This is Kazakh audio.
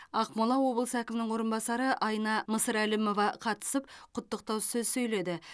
ақмола облысы әкімінің орынбасары айна мысырәлімова қатысып құттықтау сөз сөйледі